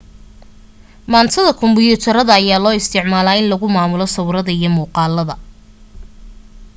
maantada kumbiyuutarada ayaa loo isticmaalaa in lagu maamulo sawirada iyo muuqaalada